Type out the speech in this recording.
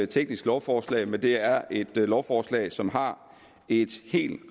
teknisk lovforslag men det er et lovforslag som har et helt